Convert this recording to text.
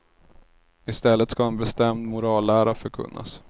I stället ska en bestämd morallära förkunnas.